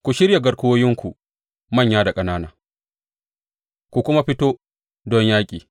Ku shirya garkuwoyinku, manya da ƙanana, ku kuma fito don yaƙi!